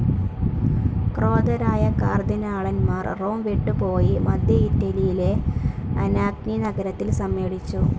ക്രോധരായ കാർദിനാളന്മാർ റോം വിട്ടുപോയി മധ്യ ഇറ്റലിയിലെ അനാഗ്നി നഗരത്തിൽ സമ്മേളിച്ചു.